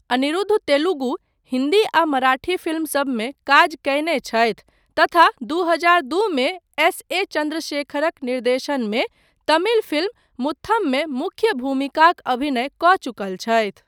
अनिरुद्ध तेलुगु, हिन्दी आ मराठी फिल्म सबमे काज कयने छथि तथा दू हजार दू मे एस. ए. चन्द्रशेखरक निर्देशनमे तमिल फिल्म मुथममे मुख्य भूमिकाक अभिनय कऽ चुकल छथि।